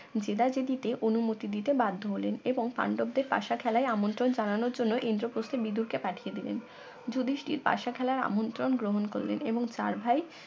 জেদাজেদিতে অনুমতি দিতে বাধ্য হলেন এবং পাণ্ডবদের পাশা খেলায় আমন্ত্রণ জানানোর জন্য ইন্দ্রপ্রস্থের বিদুরকে পাঠিয়ে দিলেন যুধিষ্ঠির পাশা খেলার আমন্ত্রণ গ্রহণ করলেন এবং চার ভাই